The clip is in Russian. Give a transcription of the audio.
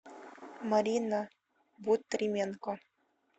марина бутрименко